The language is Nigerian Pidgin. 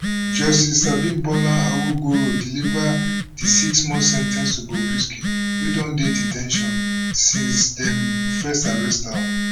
justice abimbola awogboro deliver di sixmonth sen ten ce to bobrisky wey don dey de ten tion since dem first arrest am